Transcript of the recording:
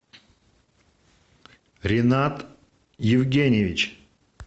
ринат евгеньевич